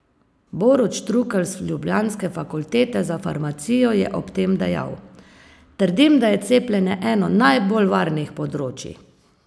Borut Štrukelj z ljubljanske Fakultete za farmacijo je ob tem dejal: "Trdim, da je cepljenje eno najbolj varnih področij.